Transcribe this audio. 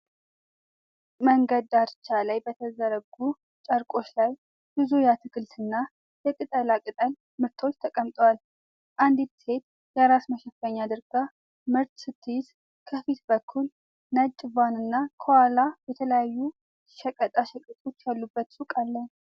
መንገድ ዳርቻ ላይ በተዘረጉ ጨርቆች ላይ ብዙ የአትክልትና የቅጠላቅጠል ምርቶች ተቀምጠዋል። አንዲት ሴት የራስ መሸፈኛ አድርጋ ምርት ስትይዝ፣ ከፊት በኩል ነጭ ቫን እና ከኋላ የተለያዩ ሸቀጣ ሸቀጦች ያሉበት ሱቅ አለ።